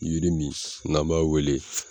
Yiri min n'an b'a wele